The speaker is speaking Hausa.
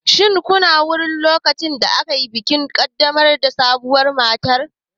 Shin kuna wurin lokacin da ake bikin ƙaddamar da sabuwar matar?